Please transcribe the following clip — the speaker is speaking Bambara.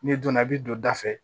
N'i donna i bɛ don da fɛ